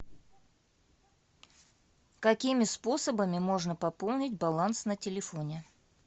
какими способами можно пополнить баланс на телефоне